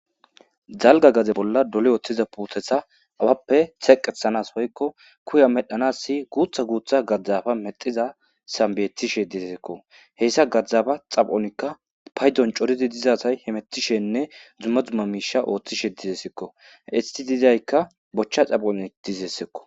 zalga gaze bolla dole ooththiza puuthetha awappe teeqethanas hoykko kuya medhanass guutha guutha gaddzafa mexiza sambeyetishe dizesekko heyssa gaddaba xaphonikka paydon coridi dizasay he mettishenne dzumma dzumma miisha ooththishe dizesekko isti dizaykka bochcha xaphoni dizessekko